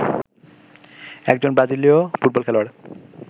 একজন ব্রাজিলীয় ফুটবল খেলোয়াড়